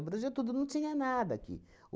O Brasil, tudo, não tinha nada aqui.